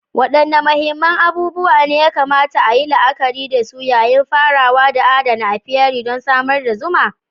Wadanne muhimman abubuwa ne ya kamata a yi la'akari da su yayin farawa da adana apiary don samar da zuma?